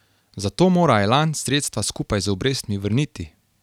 Zato mora Elan sredstva skupaj z obrestmi vrniti.